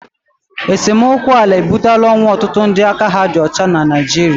esemokwu ala ebutela ọnwụ ọtụtụ ndị aka ha dị ọcha na Naịjirịa